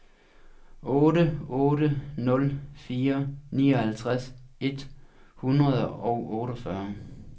otte otte nul fire nioghalvtreds et hundrede og otteogfyrre